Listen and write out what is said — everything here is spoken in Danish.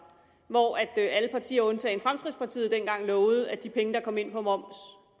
hvor alle partier undtagen fremskridtspartiet dengang lovede at de penge der kom ind på moms